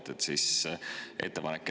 Seega on ettepanek.